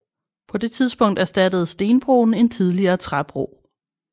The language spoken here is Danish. På det tidspunkt erstattede stenbroen en tidligere træbro